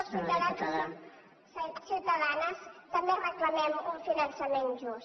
els ciutadans i ciutadanes també reclamem un finançament just